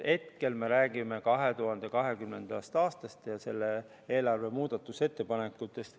Hetkel me räägime 2020. aastast ja selle eelarve muudatusettepanekutest.